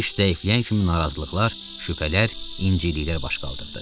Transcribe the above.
İş zəifləyən kimi narazılıqlar, şübhələr, inciliklər baş qaldırdı.